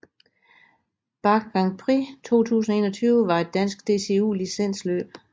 Bache Grand Prix 2021 var et dansk DCU licensløb